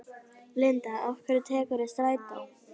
Linda: Af hverju tekurðu strætó?